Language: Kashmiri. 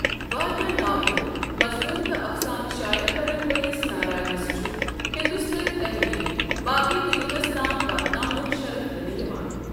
وارِیاہ ناولہٕ ،مضموُن تہٕ افسانہٕ شایعہ کرن وٲلس ناراینس چھُ ہِندوستٲنۍ تحریر باقی دُنِیاہس تام واتناونُک شرف دِنہٕ یوان ۔